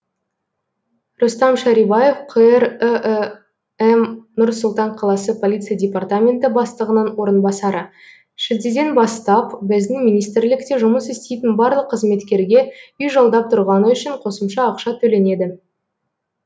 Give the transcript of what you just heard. рустам шарибаев қр іім нұр сұлтан қаласы полиция департаменті бастығының орынбасары шілдеден бастап біздің министрлікте жұмыс істейтін барлық қызметкерге үй жалдап тұрғаны үшін қосымша ақша төленеді